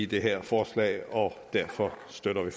det her forslag og derfor støtter vi